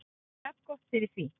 Jafngott fyrir því.